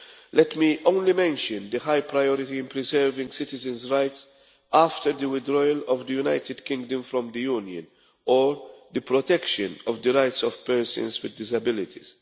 Let me only mention the high priority in preserving citizens' rights after the withdrawal of the United Kingdom from the Union, or the protection of the rights of persons with disabilities.